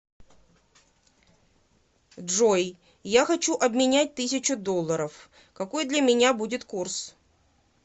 джой я хочу обменять тысячу долларов какой для меня будет курс